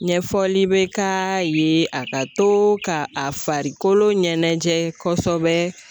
Ɲɛfɔli be k'a ye a ka to ka a farikolo ɲɛnɛjɛ kɔsɛbɛ